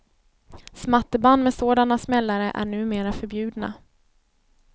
Smatterband med sådana smällare är numera förbjudna.